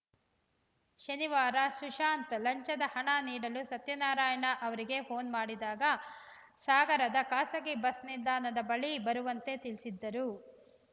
ಶನಿವಾರ ಸುಶಾಂತ್‌ ಲಂಚದ ಹಣ ನೀಡಲು ಸತ್ಯನಾರಾಯಣ ಅವರಿಗೆ ಫೋನ್‌ ಮಾಡಿದಾಗ ಸಾಗರದ ಖಾಸಗಿ ಬಸ್‌ ನಿಲ್ದಾಣದ ಬಳಿ ಬರುವಂತೆ ತಿಳಿಸಿದ್ದರು